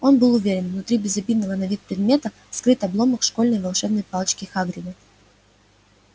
он был уверен внутри безобидного на вид предмета скрыт обломок школьной волшебной палочки хагрида